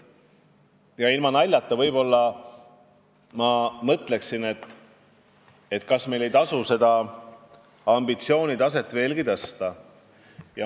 Ja ilma naljata, võib-olla ma mõtleksin, kas meil ei tasuks seda ambitsioonitaset veelgi tõsta.